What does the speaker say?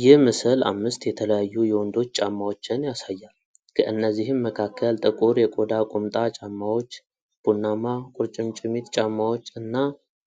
ይህ ምስል አምስት የተለያዩ የወንዶች ጫማዎችን ያሳያል፤ ከእነዚህም መካከል ጥቁር የቆዳ ቁምጣ ጫማዎች፣ ቡናማ ቁርጭምጭሚት ጫማዎች እና